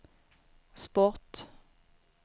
sport